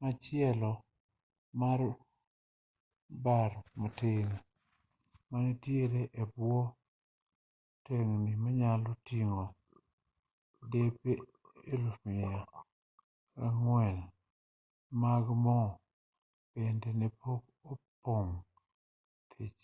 machielo mar bat-matin manitiere e bwo tengni manyalo ting'o depe 104,000 mag mo bende ne pok opong' thich